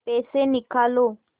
पैसे निकालो